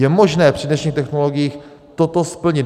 Je možné při dnešních technologiích toto splnit.